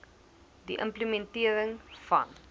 die implementering van